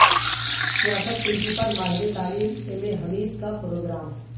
سیاست TV پر ماہر تعلیم ایم اے حمید کا پروگرام